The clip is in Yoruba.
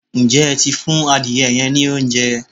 Ǹjẹ́ ẹ ti fún adire yẹn ní oúnjẹ?